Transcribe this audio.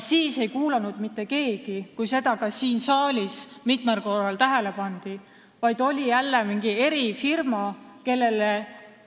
Kui sellele ka siin saalis mitmel korral tähelepanu juhiti, ei kuulanud mitte keegi.